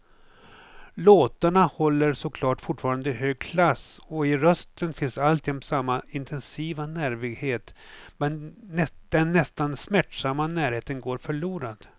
Låtarna håller såklart fortfarande hög klass och i rösten finns alltjämt samma intensiva nervighet, men den nästan smärtsamma närheten går förlorad.